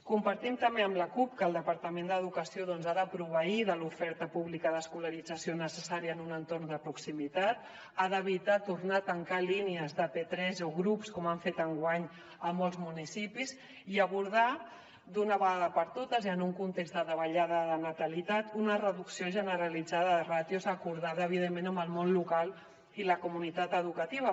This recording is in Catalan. compartim també amb la cup que el departament d’educació ha de proveir de l’oferta pública d’escolarització necessària en un entorn de proximitat ha d’evitar tornar a tancar línies de p3 o grups com han fet enguany a molts municipis i abordar d’una vegada per totes i en un context de davallada de natalitat una reducció generalitzada de ràtios acordada evidentment amb el món local i la comunitat educativa